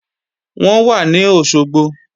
Wọ́n wà ní Òṣogbo